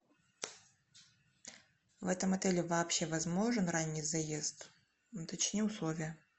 в этом отеле вообще возможен ранний заезд уточни условия